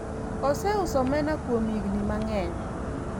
oseuso omena kuom higni mang'eny